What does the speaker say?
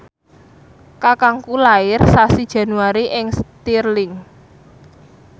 kakangku lair sasi Januari ing Stirling